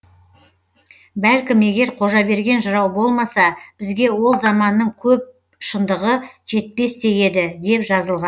бәлкім егер қожаберген жырау болмаса бізге ол заманның көп шындығы жетпес те еді деп жазылған